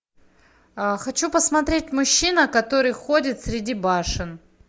хочу посмотреть мужчина который ходит среди башен